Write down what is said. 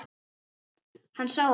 Hann sá að